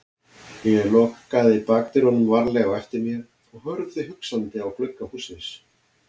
Ég lokaði bakdyrunum varlega á eftir mér og horfði hugsandi á glugga hússins.